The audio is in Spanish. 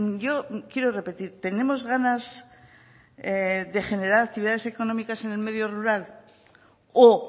yo quiero repetir tenemos ganas de generar actividades económicas en el medio rural o